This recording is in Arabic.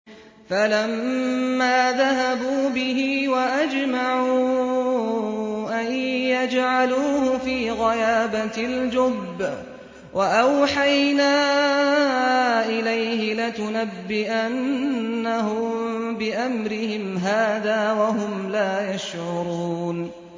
فَلَمَّا ذَهَبُوا بِهِ وَأَجْمَعُوا أَن يَجْعَلُوهُ فِي غَيَابَتِ الْجُبِّ ۚ وَأَوْحَيْنَا إِلَيْهِ لَتُنَبِّئَنَّهُم بِأَمْرِهِمْ هَٰذَا وَهُمْ لَا يَشْعُرُونَ